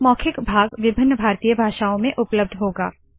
मौखिक भाग विभिन्न भारतीय भाषओं में उपलब्ध होगा